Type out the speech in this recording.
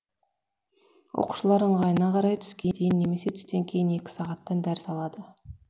оқушылар ыңғайына қарай түске дейін немесе түстен кейін екі сағаттан дәріс алады